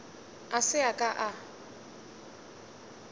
a se a ka a